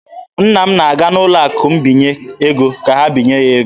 Nne m na-aga n'ụlọ akụ mbinye ego ka ha binye ya ego.